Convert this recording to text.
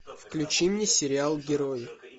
включи мне сериал герои